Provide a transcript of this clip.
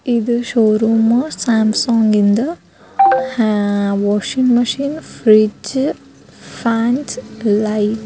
ಇದು showroom Samsung ಇಂದ್ washing machine fridge fans light --